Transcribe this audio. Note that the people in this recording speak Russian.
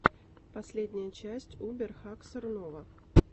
последняя часть убер хаксор нова